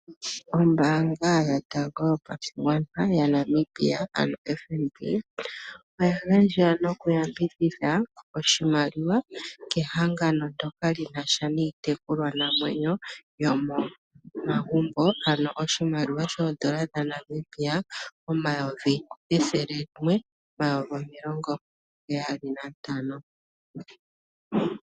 Ombaanga yotango yopashigwana yaNamibia ano FNB, oya gandja nokuyambidhidha oshimaliwa kehangano ndyoka li na sha niitekulwanamwenyo yomomagumbo ano oshimaliwa N$ 175 000.00.